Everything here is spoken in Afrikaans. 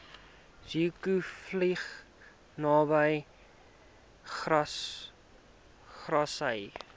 zeekoevlei naby grassy